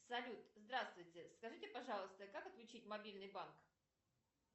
салют здравствуйте скажите пожалуйста как отключить мобильный банк